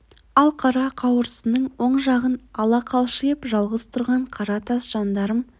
ал қара қауырсынның оң жағын ала қалшиып жалғыз тұрған қара тас жандарм